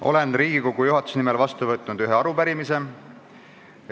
Olen Riigikogu juhatuse nimel vastu võtnud ühe arupärimise.